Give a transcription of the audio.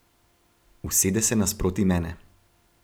Usede se nasproti mene.